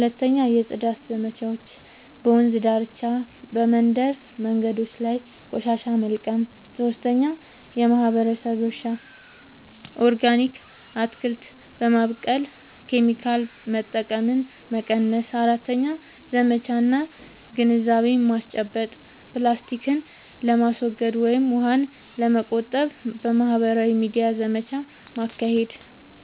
2. የጽዳት ዘመቻዎች – በወንዝ ዳርቻ፣ በመንደር መንገዶች ላይ ቆሻሻ መልቀም። 3. የማህበረሰብ እርሻ – ኦርጋኒክ አትክልት በማብቀል ኬሚካል መጠቀምን መቀነስ። 4. ዘመቻ እና ግንዛቤ ማስጨበጫ – ፕላስቲክን ለማስወገድ ወይም ውሃን ለመቆጠብ በማህበራዊ ሚዲያ ዘመቻ ማካሄድ።